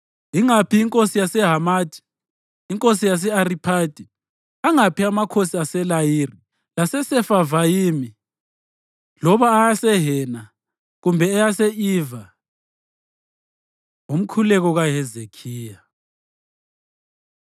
Ingaphi inkosi yaseHamathi, inkosi yase-Ariphadi, angaphi amakhosi aseLayiri leSefavayimi, loba eyaseHena kumbe eyase-Iva?” Umkhuleko KaHezekhiya